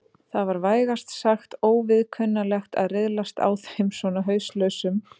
Það var vægast sagt óviðkunnanlegt að riðlast á þeim svona hauslausum.